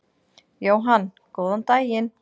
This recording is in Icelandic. Jóhann: Góðan daginn.